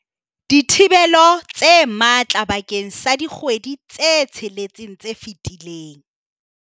dithibelo tse matla bakeng sa dikgwedi tse tsheletseng tse fetileng.